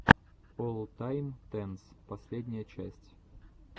оллтайм тенс последняя часть